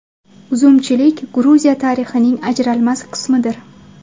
Uzumchilik Gruziya tarixining ajralmas qismidir.